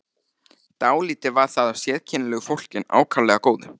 Dálítið var þar af sérkennilegu fólki en ákaflega góðu.